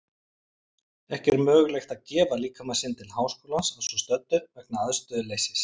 Ekki er mögulegt að gefa líkama sinn til Háskólans að svo stöddu vegna aðstöðuleysis.